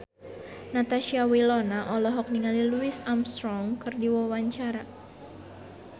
Natasha Wilona olohok ningali Louis Armstrong keur diwawancara